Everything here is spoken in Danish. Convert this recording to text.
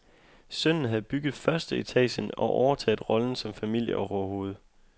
Sønnen havde bygget førsteetagen og overtaget rollen som familieoverhoved.